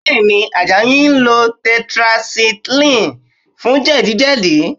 Bẹ́ẹ̀ ni, Àjàyí ń lo tetracycline fún jẹ̀díjẹ̀dí